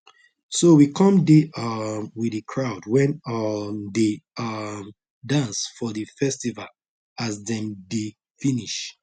so we come dey um with the crowd when um dey um dance for the festival as dem dey finish